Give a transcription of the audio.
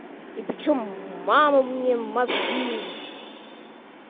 и причём мама мне мозги